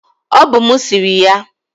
Ọ bụ mụ siri ya.